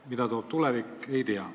Mida toob tulevik, ei tea.